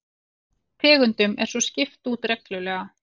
Tegundum er svo skipt út reglulega